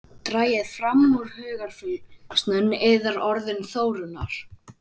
Dragið fram úr hugarfylgsnum yðar orðin Þórunnar.